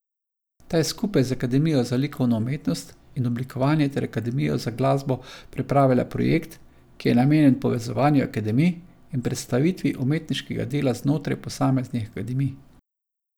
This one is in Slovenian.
Ta je skupaj z Akademijo za likovno umetnost in oblikovanje ter Akademijo za glasbo pripravila projekt, ki je namenjen povezovanju akademij in predstavitvi umetniškega dela znotraj posameznih akademij.